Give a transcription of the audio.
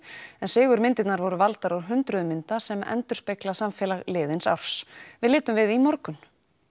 en sigurmyndirnar voru valdar úr hundruðum mynda sem endurspegla samfélag liðins árs við litum við í morgun